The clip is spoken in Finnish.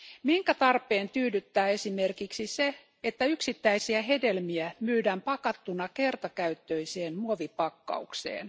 Minkä tarpeen tyydyttää esimerkiksi se, että yksittäisiä hedelmiä myydään pakattuna kertakäyttöiseen muovipakkaukseen?